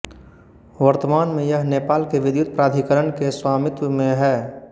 वर्तमान में यह नेपाल विद्युत प्राधिकरण के स्वामित्व में है